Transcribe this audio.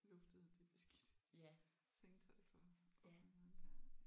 det beskidte sengetøj for offentligheden der